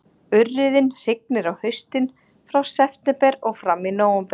Urriðinn hrygnir á haustin, frá september og fram í nóvember